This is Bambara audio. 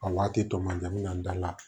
A waati tɔ manjan da la